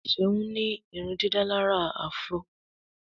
Seun ní irundidalara afro.